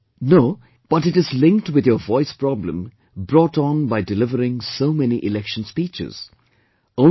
He said, "No, but it is linked with your voice problem brought on by delivering so many election speeches